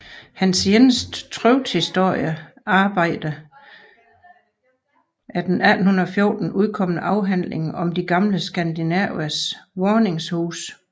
Hans eneste trykte historiske arbejde er den 1814 udkomne afhandling Om de gamle Skandinavers Vaaningshuse